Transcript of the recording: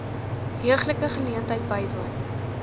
heuglike geleentheid bywoon